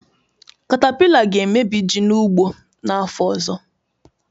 Katapila ga-emebi ji n'ugbo n'afọ ọzọ